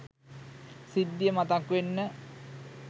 සිද්ධිය මතක් වෙන්න